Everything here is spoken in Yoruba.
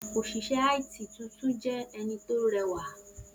Oṣiṣẹ IT tuntun jẹ lẹwa